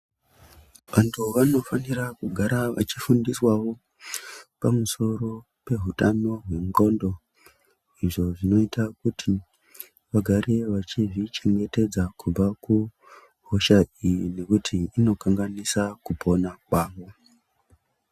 Vantu vanofanira kugara vachifundiswawo pamusoro pehutano hwendxondo izvo zvinoita kuti vagare vachizvichengetedza kubva kuhosha iyi nekuti inokanganisa kupona kwavo.